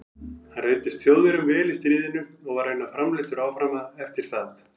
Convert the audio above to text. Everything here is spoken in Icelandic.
Hann reyndist Þjóðverjum vel í stríðinu og var raunar framleiddur áfram eftir það.